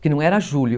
Que não era julho.